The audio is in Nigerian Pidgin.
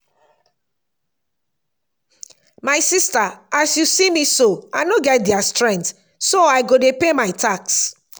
my sister as you see me so i no get their strength so i go dey pay my tax